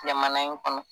Jamana in kɔnɔ